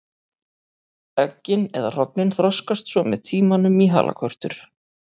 Eggin eða hrognin þroskast svo með tímanum í halakörtur.